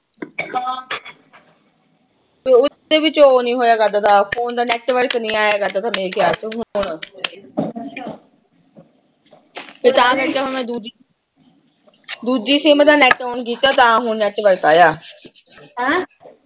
ਉਸ ਦੇ ਵਿੱਚ ਉਹੋ ਨੀਂ ਹੋਇਆ ਕਰਦਾ। ਫੋਨ ਦਾ ਨੈਟਵਰਕ ਨੀਂ ਆਇਆ ਕਰਦਾ। ਤੇ ਤਾਂ ਕਰਕੇ ਹੁਣ ਮੈਂ ਦੂਜੀ ਦੂਜੀ ਸਿਮ ਦਾ ਨੈੱਟ ਆਨ ਕੀਤਾ, ਤਾਂ ਹੁਣ ਨੈਟਵਰਕ ਆਇਆ। ਹੈਂ